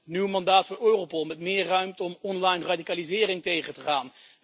We hebben een nieuw mandaat van Europol met meer ruimte om online radicalisering tegen te gaan.